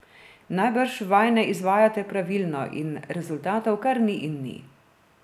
Najbrž vaj ne izvajate pravilno in rezultatov kar ni in ni.